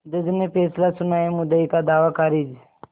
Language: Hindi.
जज ने फैसला सुनायामुद्दई का दावा खारिज